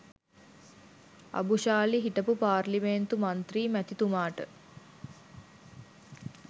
අබුශාලි හිටපු පාර්ලිමේන්තු මන්ත්‍රී මැතිතුමාට